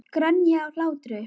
Grenja af hlátri.